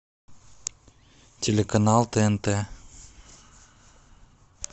телеканал тнт